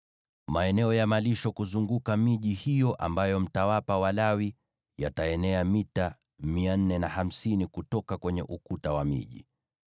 “Maeneo ya malisho kuzunguka miji hiyo ambayo mtawapa Walawi yataenea mita 450 kutoka kwenye ukuta wa miji.